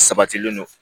Sabatilen don